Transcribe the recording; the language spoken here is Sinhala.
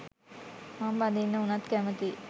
මං බඳින්න උනත් කැමතියි